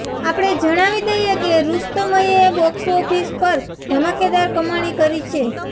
આપણે જણાવી દઈએ કે રુસ્તમએ બોક્સઓફિસ પર ધમાકેદાર કમાણી કરી છે